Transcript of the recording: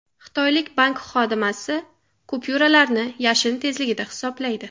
Xitoylik bank xodimasi kupyuralarni yashin tezligida hisoblaydi .